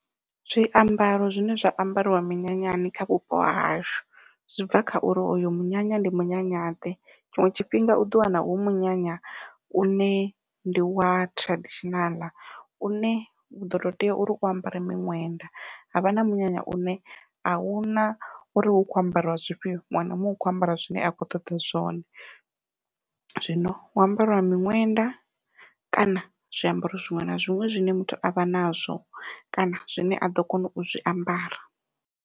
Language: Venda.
Zwiambaro zwine zwa ambariwa minyanyani kha vhupo hahashu zwi bva kha uri oyo munyanya ndi munyanya ḓe. Tshiṅwe tshifhinga uḓo wana hu munyanya une ndi wa traditional une uḓo tou tea uri u ambare muṅwenda havha na munyanya une ahuna uri hu kho ambariwa zwifhio muṅwe na muṅwe u kho ambara zwine a khou ṱoḓa zwone. Zwino hu ambariwa miṅwenda kana zwiambaro zwiṅwe na zwiṅwe zwine muthu avha nazwo kana zwine a ḓo kona u zwi ambara.